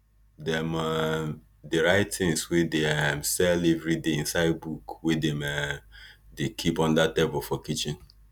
dem um dey write things wey dey um sell everiday inside book wey dem um dey keep under table for kitchen